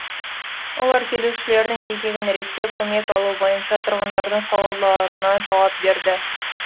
олар келушілердің кезегін реттеп көмек алу бойынша тұрғындардың сауалдарына жауап береді